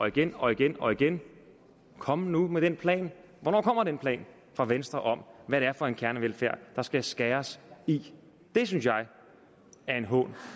igen og igen og igen kom nu med den plan hvornår kommer den plan fra venstre om hvad det er for en kernevelfærd der skal skæres i det synes jeg er en hån